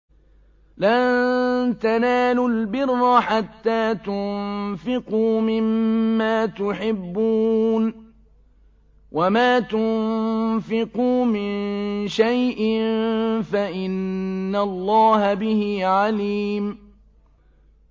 لَن تَنَالُوا الْبِرَّ حَتَّىٰ تُنفِقُوا مِمَّا تُحِبُّونَ ۚ وَمَا تُنفِقُوا مِن شَيْءٍ فَإِنَّ اللَّهَ بِهِ عَلِيمٌ